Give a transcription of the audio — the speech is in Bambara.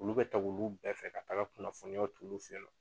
Olu bɛ ta olu bɛɛ fɛ ka taga kunnafoniya ta olu fɛ yen nɔ.